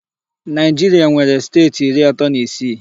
Naịjiria nwere steeti iri atọ na isii.